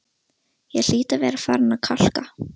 Ég hlýt að vera farin að kalka,